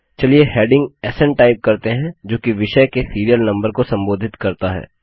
चलिए हैडिंग स्न टाइप करते हैं जो कि विषय के सीरियल नम्बर को संबोधित करता है